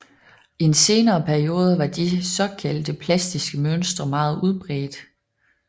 I en senere periode var de såkaldte plastiske mønstre meget udbredte